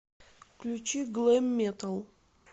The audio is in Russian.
включи глэм метал